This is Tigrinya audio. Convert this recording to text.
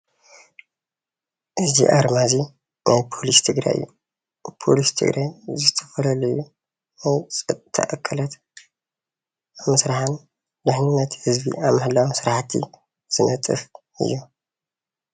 እዚ ኣርማ እዚ ናይ ፖሊስ ትግራይ እዩ፡፡ ፖሊስ ትግራይ ዝተፈላለዩ ናይ ፀጥታ ኣካላት ንምስራሕን ናይ ድሕንነት ህዝቢ ኣብ ምሕላውን ስራሕቲ ዝነጥፍ እዩ፡፡